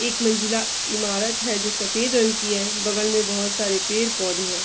एक मंजिला इमारत है जो सफ़ेद रंग की है बगल में बहोत सारे पेड़-पौधे हैं।